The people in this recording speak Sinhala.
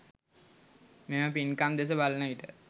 මෙම පින්කම් දෙස බලනවිට